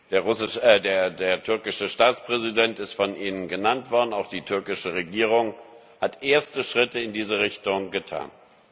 Der türkische Staatspräsident ist von Ihnen genannt worden, auch die türkische Regierung hat erste Schritte in diese Richtung getan.